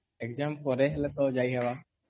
exam ପରେ ହେଲେ ତ ଯାଇ ହବାର